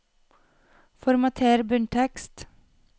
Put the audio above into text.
Formater bunntekst